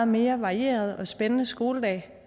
mere varieret og spændende skoledag